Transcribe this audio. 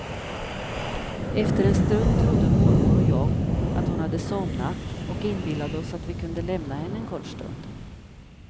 Efter en stund trodde mormor och jag att hon hade somnat och inbillade oss att vi kunde lämna henne en kort stund.